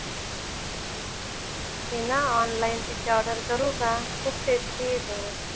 मी ना online pizza order करू का? खूप टेस्टी येतो ग.